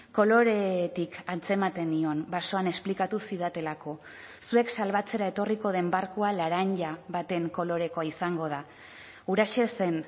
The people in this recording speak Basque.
koloretik antzematen nion basoan esplikatu zidatelako zuek salbatzera etorriko den barkua laranja baten kolorekoa izango da huraxe zen